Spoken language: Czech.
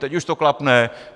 Teď už to klapne.